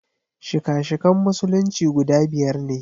Shika-shikan Musulunci guda biyar ne.